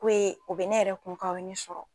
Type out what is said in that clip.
Ko ye o be ne yɛrɛ kun kan o ye ne sɔrɔ